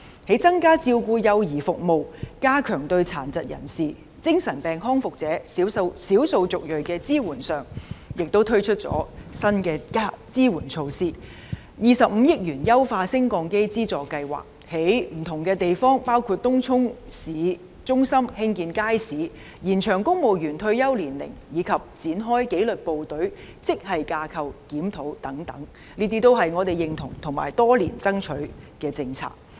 在增加照顧幼兒服務、加強對殘疾人士、精神病康復者、少數族裔的支援上，亦推出了新的支援措施，並且推出25億元的"優化升降機資助計劃"；在不同地方包括東涌市中心興建街市；延長公務員退休年齡；以及展開紀律部隊職系架構檢討等，這些都是我們認同及爭取多年的政策。